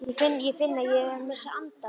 Ég finn, ég finn að ég er að missa andann.